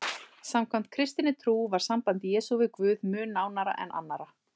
Samkvæmt kristinni trú var samband Jesú við Guð mun nánara en annarra.